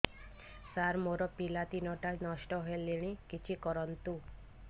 ସାର ମୋର ପିଲା ତିନିଟା ନଷ୍ଟ ହେଲାଣି କିଛି କରନ୍ତୁ